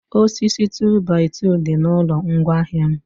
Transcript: osisi 2by2 dị na ụlọ ngwa ahịa m